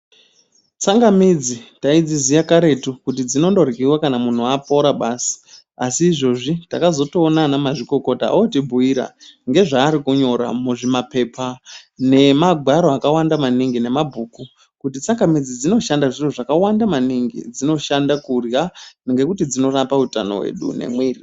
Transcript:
Tsanganidzi taidziziye karetu kuti dzinondoryiva kana muntu apora basi. Asi izvozvi takazotoona vana mazvikokota otibhuira ngezvaarikunyora muzvimapepa nemangwaro akawanda maningi nemabhuku. Kuti tsangamidzi dzinoshanda zviro zvakawanda maningi. Dzinoshanda kurya ngekuti dzinorapa utano hwedu nemwiri.